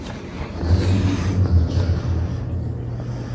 E nyasi duto mag chakruok,